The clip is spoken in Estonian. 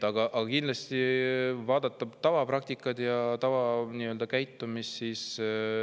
Aga vaatame tavapraktikat ja tavakäitumist.